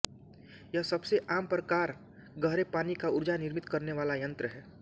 यह सबसे आम प्रकार गहरे पानी का ऊर्जा निर्मित करने वाला यंत्र है